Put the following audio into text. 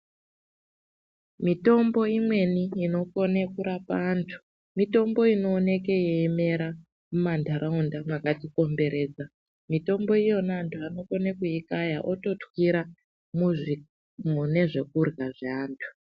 Mitombo imweni inokone kurapa antu, mitombo inooneke yeimera mumantaraunda makatikomberedza. Mitombo iyona antu anokone kuikaya ototwira mune zvekurya zveantu.